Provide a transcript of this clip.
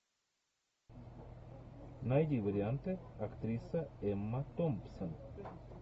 найди варианты актриса эмма томпсон